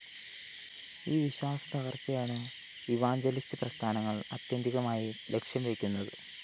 ഈ വിശ്വാസത്തകര്‍ച്ചയാണ് ഇവാഞ്ചലിസ്റ്റ്‌ പ്രസ്ഥാനങ്ങള്‍ ആത്യന്തികമായി ലക്ഷ്യംവയ്ക്കുന്നത്